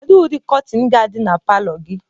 Kedu ụdị kọtịn ga-adị na palọ gị?